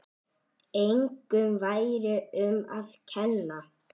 Engum væri um að kenna.